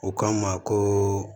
U k'an ma ko